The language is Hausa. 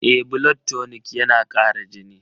Eh, blood tonic yana kara jini.